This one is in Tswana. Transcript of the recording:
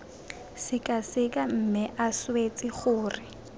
sekaseka mme a swetse gore